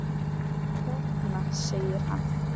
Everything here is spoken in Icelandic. Þarna! segir hann.